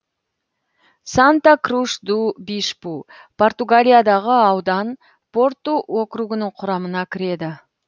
санта круш ду бишпу португалиядағы аудан порту округінің құрамына кіреді